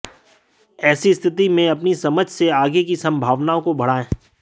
ऐसी स्थिति में अपनी समझ से आगे की संभावनाओं को बढ़ाएं